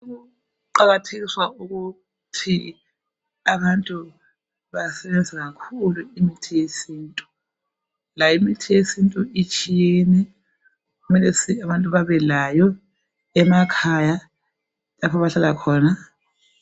Ukuqakathekiswa ukuthi abamtu basebenzise kakhulu imithi yesintu. Layo imithi yesintu itshiyene. Kumele abantu babe layo emakhaya, lapha abahlala khona.